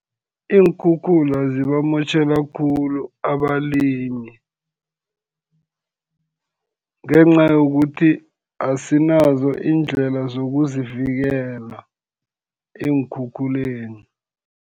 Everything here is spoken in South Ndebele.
Iinkhukhula zibamotjhela khulu abalimi, ngenca yokuthi asinazo iindlela zokuzivikela eenkhukhuleni.